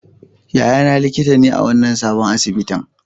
Yayana likita ne a wannan sabon asibitin.